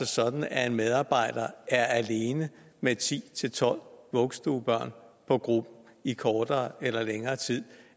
sådan at en medarbejder er alene med ti til tolv vuggestuebørn i kortere eller længere tid